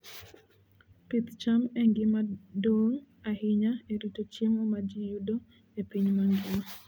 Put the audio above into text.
Pith cham en gima duong' ahinya e rito chiemo ma ji yudo e piny mangima.